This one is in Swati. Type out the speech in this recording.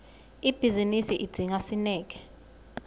ibhizinisi idzinga sineke